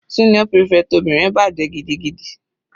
Senior prefect obìnrin bàjẹ́ gidigidi.